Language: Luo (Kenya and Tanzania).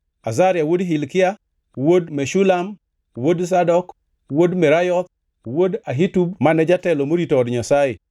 Azaria wuod Hilkia, wuod Meshulam, wuod Zadok, wuod Merayoth, wuod Ahitub mane jatelo morito Od Nyasaye;